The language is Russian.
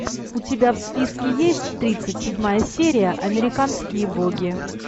у тебя в списке есть тридцать седьмая серия американские боги